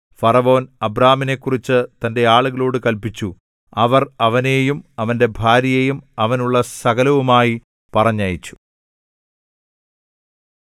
ഫറവോൻ അബ്രാമിനെക്കുറിച്ചു തന്റെ ആളുകളോട് കല്പിച്ചു അവർ അവനെയും അവന്റെ ഭാര്യയെയും അവനുള്ള സകലവുമായി പറഞ്ഞയച്ചു